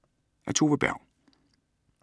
Af Tove Berg